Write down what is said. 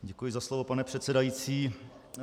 Děkuji za slovo, pane předsedající.